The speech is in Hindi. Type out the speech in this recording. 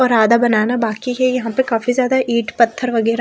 और आधा बनाना बाकी है यहां पे काफी ज्यादा ईट पत्थर वगैरह--